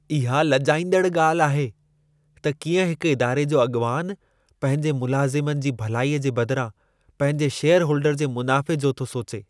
इहा लॼाईंदड़ु ॻाल्हि आहे त कीअं हिक इदारे जो अॻवानु पंहिंजे मुलज़िमनि जी भलाईअ जे बदिरां पंहिंजे शेयरहोल्डर जे मुनाफ़े जो थो सोचे।